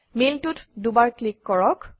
মেইলটোত দুবাৰ ক্লিক কৰক